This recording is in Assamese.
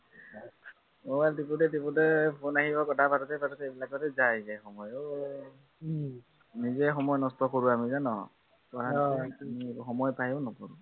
mobile টিপোতে টিপোতে phone আহিব কথা পাতোতে পাতোতে এইবিলাকতে যায়গে সময় অ নিজেই সময় নষ্ট কৰো আমি ন, সময় পায়ো নপঢ়ো